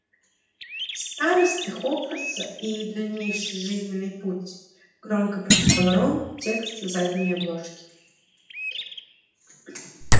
старосты хогвартса и их дальнейший жизненный путь громко прочитал рон текст с задней обложки